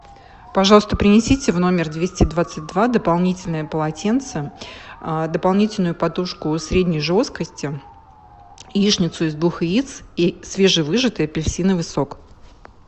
пожалуйста принесите в номер двести двадцать два дополнительные полотенца дополнительную подушку средней жесткости яичницу из двух яиц и свежевыжатый апельсиновый сок